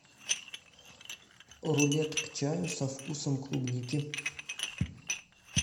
рулет к чаю со вкусом клубники